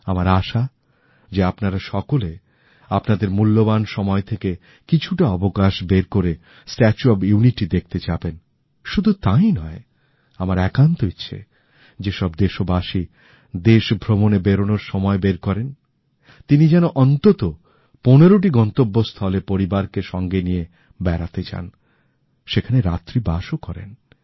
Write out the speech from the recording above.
আমার আশা আপনারা সবাই আপনাদের মূল্যবান সময় থেকে কিছুটা অবকাশ বের করে এই স্ট্যাচু অফ ইউনিটি তো দেখতে যাবেনই উপরন্তু আমার একান্ত ইচ্ছে যে প্রত্যেক ভারতীয় যিনি ভ্রমণের জন্যে বেরিয়ে পড়েন তিনি সপরিবারে দেশের অন্ততঃ পনেরোটি গন্তব্যস্থলে বেড়াতে যান এবং সেখানে রাত্রিবাস করেন